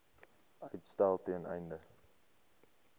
uitstel ten einde